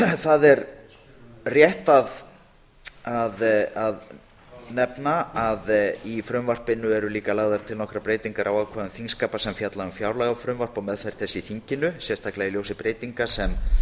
það er rétt að nefna að í frumvarpinu eru líka lagðar til nokkrar breytingar á ákvæðum þingskapa sem fjalla um fjárlagafrumvarp og meðferð þess í þinginu sérstaklega í ljósi breytinga sem